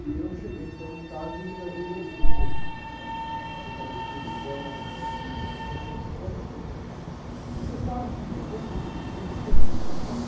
E eu cheguei então em casa e fui fazer uma usina com palitinho de fósforo, fio de... Né? E você sabe que depois que eu fiz a usina, fiquei com medo de tomar choque.